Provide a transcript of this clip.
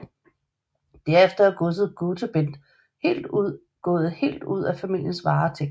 Derefter er godset Gotebend gået helt ud af familiens varetægt